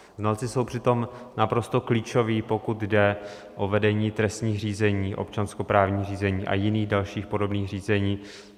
Znalci jsou přitom naprosto klíčoví, pokud jde o vedení trestních řízení, občanskoprávních řízení a jiných dalších podobných řízení.